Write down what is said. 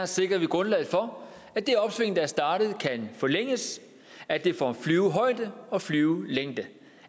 sikrer vi grundlaget for at det opsving der er startet kan forlænges at det får flyvehøjde og flyvelængde